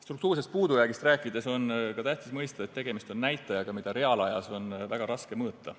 Struktuursest puudujäägist rääkides on tähtis mõista, et tegemist on näitajaga, mida reaalajas on väga raske mõõta.